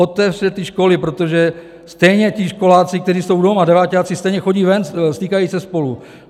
Otevřete ty školy, protože stejně ti školáci, kteří jsou doma, deváťáci, stejně chodí ven, stýkají se spolu.